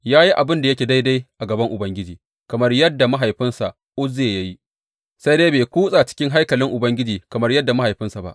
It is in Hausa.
Ya yi abin da yake daidai a gaban Ubangiji, kamar yadda mahaifinsa Uzziya ya yi, sai dai bai kutsa cikin haikalin Ubangiji kamar mahaifinsa ba.